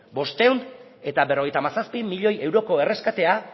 bostehun eta berrogeita hamazazpi miloi euroko erreskatea